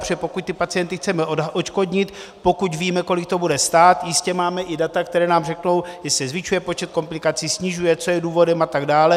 Protože pokud ty pacienty chceme odškodnit, pokud víme, kolik to bude stát, jistě máme i data, která nám řeknou, jestli se zvyšuje počet komplikací, snižuje, co je důvodem a tak dále.